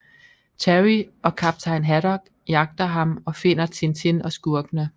Terry og kaptajn Haddock jagter ham og finder Tintin og skurkene